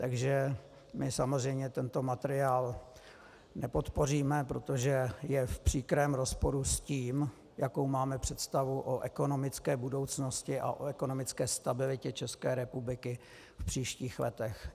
Takže my samozřejmě tento materiál nepodpoříme, protože je v příkrém rozporu s tím, jakou máme představu o ekonomické budoucnosti a o ekonomické stabilitě České republiky v příštích letech.